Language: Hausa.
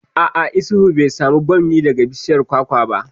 A'a, Isuhu bai samu bammi daga bishiyar kwakwa ba